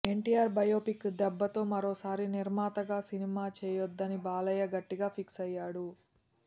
NTR biopic దెబ్బతో మరోసారి నిర్మాతగా సినిమా చేయద్దని బాలయ్య గట్టిగా ఫిక్స్ అయ్యాడు